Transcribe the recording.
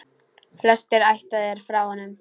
Flestir ættaðir frá honum.